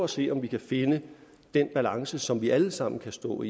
se om vi kan finde den balance som vi alle sammen kan stå